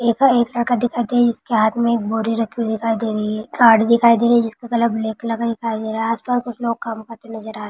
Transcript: एका-एक बोरी रखी हुइ दिखाई दे रही है। गाड़ी दिखाई दे रही है जिसकी कलर ब्लॅक कलर दिखाई दे रहा है आसपास कुछ लोग काम करते नजर आ--